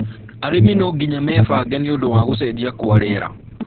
Arĩmi no mũhaka meebange nĩũndũ wa gũcenjia kwa rĩera